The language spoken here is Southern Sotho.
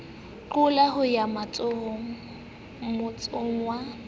qoleng ho ya motsong wa